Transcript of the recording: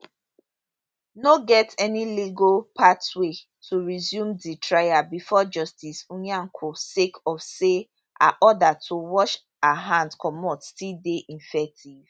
no get any legal pathway to resume di trial bifor justice nyako sake of say her order to wash her hand comot still dey effective